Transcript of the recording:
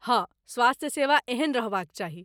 हाँ, स्वास्थ्य सेवा एहने रहबाक चाही।